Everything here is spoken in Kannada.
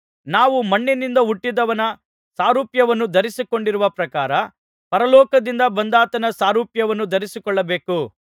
ನಾವು ಮಣ್ಣಿನಿಂದ ಹುಟ್ಟಿದವನ ಸಾರೂಪ್ಯವನ್ನು ಧರಿಸಿಕೊಂಡಿರುವ ಪ್ರಕಾರ ಪರಲೋಕದಿಂದ ಬಂದಾತನ ಸಾರೂಪ್ಯವನ್ನೂ ಧರಿಸಿಕೊಳ್ಳಬೇಕು